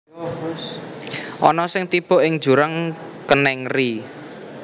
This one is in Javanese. Ana sing tiba ing jurang kenèng ri